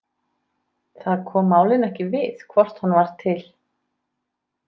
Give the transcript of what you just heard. Það kom málinu ekki við hvort hann var til.